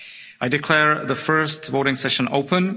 I declare the first voting session open.